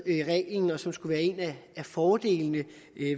reglen og som skulle være en af fordelene